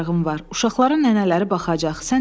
Uşaqlara nənələri baxacaq.